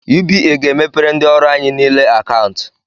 UBA ga-emepere ndị ọrụ anyị nile akantu